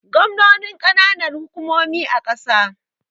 Gwangwani kananan hukumomi a kasa